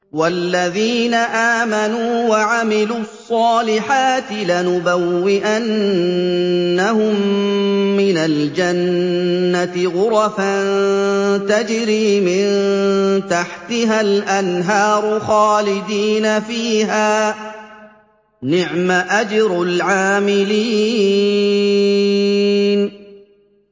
وَالَّذِينَ آمَنُوا وَعَمِلُوا الصَّالِحَاتِ لَنُبَوِّئَنَّهُم مِّنَ الْجَنَّةِ غُرَفًا تَجْرِي مِن تَحْتِهَا الْأَنْهَارُ خَالِدِينَ فِيهَا ۚ نِعْمَ أَجْرُ الْعَامِلِينَ